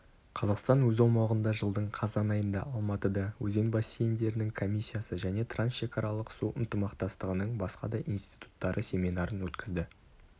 қазақстан өз аумағында жылдың қазан айында алматыда өзен бассейндерінің комиссиясы және трансшекаралық су ынтымақтастығының басқа да институттары семинарын өткізді